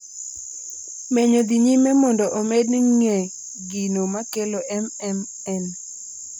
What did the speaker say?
Menyo dhi nyime mondo omed ng'e gino makelo MMN